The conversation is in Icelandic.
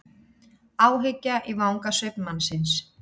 Áhyggja í vangasvip mannsins.